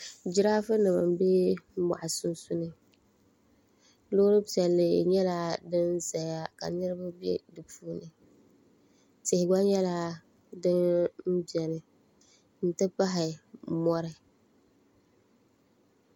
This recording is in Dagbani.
jiraafunima m-be mɔɣu sunsuuni loori piɛlli nyɛla din zaya ka niriba be di puuni tihi gba nyɛla din beni nti pahi mɔri